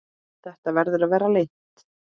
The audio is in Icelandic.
Þetta verður að fara leynt!